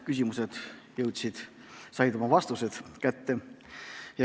Loodan, et küsijad said oma vastused kätte.